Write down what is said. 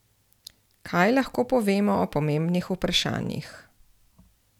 Kaj lahko povemo o pomembnih vprašanjih?